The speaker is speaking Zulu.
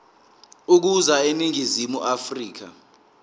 ukuza eningizimu afrika